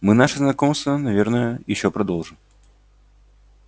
мы наше знакомство наверное ещё продолжим